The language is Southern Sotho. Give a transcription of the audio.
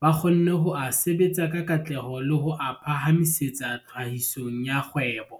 ba kgonne ho a sebetsa ka katleho le ho a phahamisetsa tlhahisong ya kgwebo.